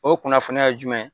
O kunnafoniya ye jumɛn ye ?